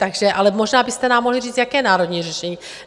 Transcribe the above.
Takže ale možná byste nám mohli říct, jaké národní řešení.